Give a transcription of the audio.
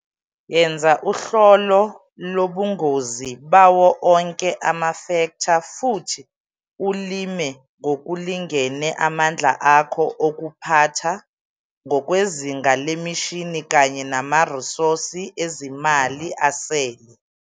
Yenza uhlolo lobungozi bawo onke amafektha futhi ulime ngokulingene amandla akho okuphatha, ngokwezinga lemishini kanye namarisosi ezimali asele.